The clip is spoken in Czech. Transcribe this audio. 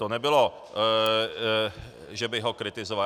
To nebylo, že bych ho kritizoval.